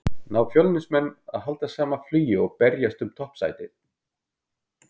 Ná Fjölnismenn að halda sama flugi og berjast um toppsætin?